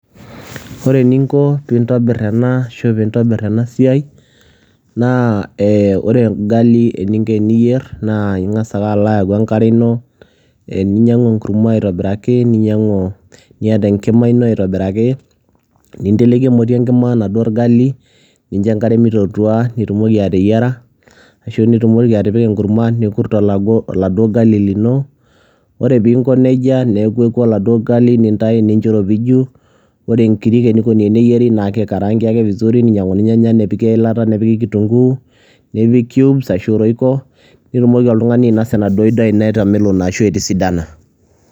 Ore eninko peeintobir ena ashuu pee intobir ena siai naa ore orgali eninko teniyier naa ing'as ake alo ayau enkare ino ninyiang'u enkurma airobiraki niata enkima ino aitobiraki ninteleki emoti enkima enaduo orgali nincho enkare meitootua nitumoki ateyiara ashu nitumoki atipika enkurma nikurt aladuo gali lino ore piinko nejia neku oladuo gali nintayu nincho eiropiju ore inkirik eneikoni teneyieri naa kikaraanki ake vizuri ninyiang'uni irnyanya nepiki eilata nepiki kitunguu nipik cubes arashuu roico nitumoki oltung'ani ainasa enaduo daai ino etamelono ashuu etisidana.